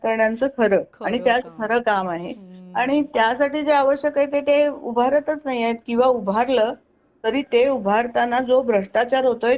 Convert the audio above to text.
राजकारणाचं खरं आणि ते आज खरं काम आहे आणि त्यासाठी जे आवश्यक आहे ते उभारातचं नाहीय किंवा उभार लं तरी ते उभारताना जो भ्रष्टाचार होतो